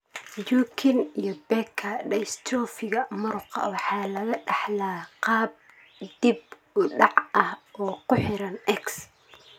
Duchenne iyo Becker dystrophiga muruqa waxaa lagu dhaxlaa qaab dib u dhac ah oo ku xiran X.